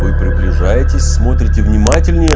вы приближаетесь смотрите внимательнее